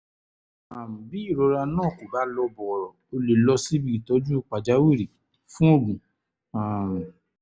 um bí bí ìrora náà kò bá lọ bọ̀rọ̀ ó lè lọ síbi ìtọ́jú pàjáwìrì fún oògùn um